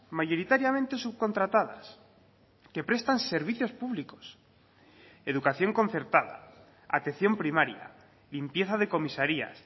mayoritariamente subcontratadas que prestan servicios públicos educación concertada atención primaria limpieza de comisarías